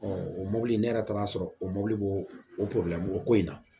o mɔbili ne yɛrɛ taara a sɔrɔ o mɔbili b'o o porobilɛmu mɔgɔ ko in na